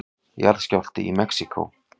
Jarðskjálfti í Mexíkó